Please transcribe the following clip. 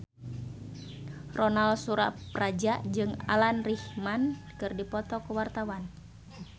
Ronal Surapradja jeung Alan Rickman keur dipoto ku wartawan